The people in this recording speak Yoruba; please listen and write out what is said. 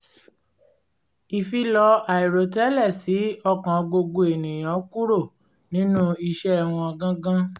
ìfilọ̀ aìrò tẹ́lẹ̀ ṣí ọkàn gbogbo ènìyàn kúrò nínú iṣẹ́ wọn gangan